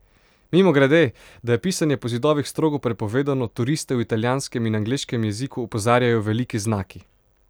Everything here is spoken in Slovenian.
Mimogrede, da je pisanje po zidovih strogo prepovedano, turiste v italijanskem in angleškem jeziku opozarjajo veliki znaki!